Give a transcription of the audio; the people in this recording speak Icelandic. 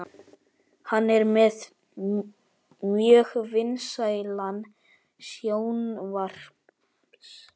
Hann er með mjög vinsælan sjónvarps